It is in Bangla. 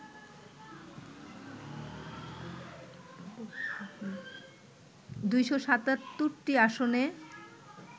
২৭৭টি আসনে